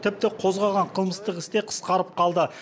тіпті қозғалған қылмыстық іс те қысқарып қалды